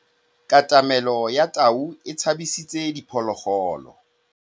Katamêlô ya tau e tshabisitse diphôlôgôlô.